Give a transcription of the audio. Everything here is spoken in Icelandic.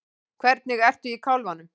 Hvernig ertu í kálfanum?